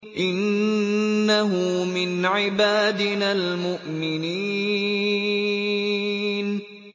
إِنَّهُ مِنْ عِبَادِنَا الْمُؤْمِنِينَ